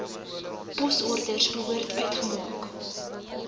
posorders behoort uitgemaak